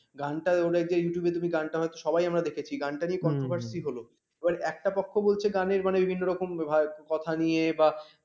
গানটা এলো যে YouTube গানটা সবাই আমরা দেখেছি গানটা নিয়ে controversy হল এবার একটা পক্ষ বলছে গানের মানে বিভিন্ন রকম কথা নিয়ে বা